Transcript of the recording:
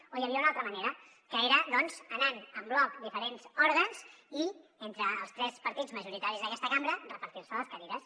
o hi havia una altra manera que era doncs anant en bloc a diferents òrgans i entre els tres partits majoritaris d’aquesta cambra repartir se les cadires